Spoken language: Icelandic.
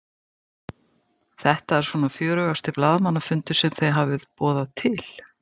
Þetta er svona fjörugasti blaðamannafundur sem þið hafið boðað til?